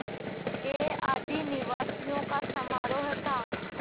के आदिनिवासियों का समारोह था